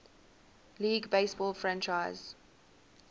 league baseball franchise